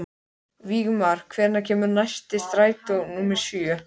Vígmar, hvenær kemur strætó númer sjö?